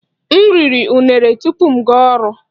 M riri unere tupu m gaa ọrụ